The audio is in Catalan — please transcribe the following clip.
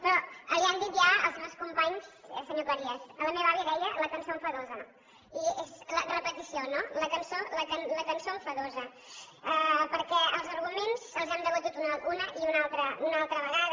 però li ho han dit ja els meus companys senyor cleries la meva àvia en deia la cançó enfadosa i és la repetició no la cançó enfadosa perquè els arguments els hem debatut una i una altra vegada